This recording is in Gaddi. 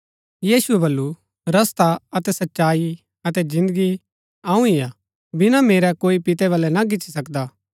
यीशुऐ बल्लू रस्ता अतै सच्चाई अतै जिन्दगी अऊँ ही हा बिना मेरै कोई पितै बलै ना गिच्ची सकदा